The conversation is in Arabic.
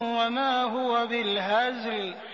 وَمَا هُوَ بِالْهَزْلِ